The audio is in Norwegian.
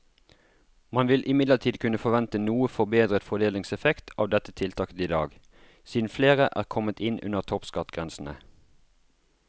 Man vil imidlertid kunne forvente noe forbedret fordelingseffekt av dette tiltaket i dag, siden flere er kommet inn under toppskattgrensene.